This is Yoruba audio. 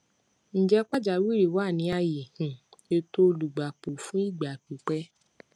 ǹjẹ pàjáwìrì wà ní ààyè um ètò olùgbapò fún ìgbà pípẹ